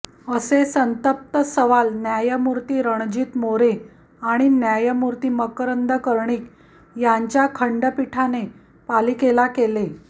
असे संतप्त सवाल न्यायमूर्ती रणजीत मोरे आणि न्यायमूर्ती मकरंद कर्णिक यांच्या खंडपीठाने पालिकेला केले